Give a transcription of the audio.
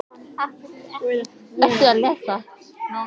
Og Guðfinnur á línuna!